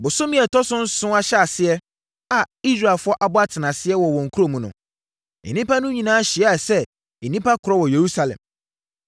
Bosome a ɛtɔ so nson ahyɛaseɛ a Israelfoɔ abɔ atenaseɛ wɔ wɔn nkuro mu no, nnipa no nyinaa hyiaa sɛ nnipa korɔ wɔ Yerusalem.